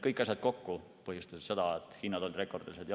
Kõik need kokku põhjustasid seda, et hinnad olid rekordilised.